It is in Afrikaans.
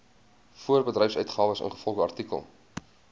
voorbedryfsuitgawes ingevolge artikel